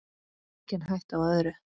Engin hætta á öðru!